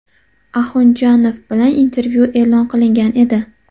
Axunjanova bilan intervyu e’lon qilingan edi.